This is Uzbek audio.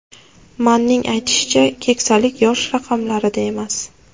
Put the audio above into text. Manning aytishicha, keksalik yosh raqamlarida emas.